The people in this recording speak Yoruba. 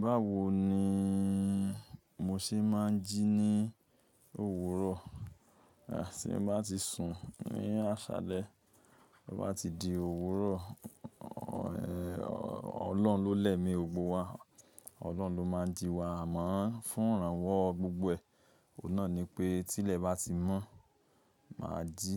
Báwo ni mo ṣe máa ń jí ní òwúrọ̀? Tí n bá ti sùn ní àṣálẹ́, bo bá ti di òwúrọ̀, Ọlọ́hun lólẹ̀mi ògbó wa, Ọlọ́hun ló máa ń jí wa, àmọ́ fún ìrànwọ́ gbogbo ẹ, òun náà ni pé tí ilẹ̀ bá ti mọ́, máa jí.